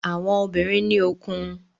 Àwọn obìnrin ní òkun.